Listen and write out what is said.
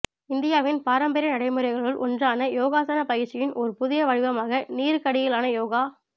இந்தியாவின் பாரம்பரிய நடைமுறைகளுள் ஒன்றான யோகாசன பயிற்சியின் ஓர் புதிய வடிவமாக நீருக்கடியிலான யோகா அ